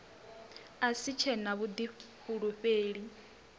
a si tshe na vhuḓifulufheli